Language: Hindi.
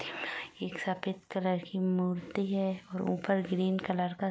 एक सफेद कलर की मूर्ति है और ऊपर ग्रीन कलर का --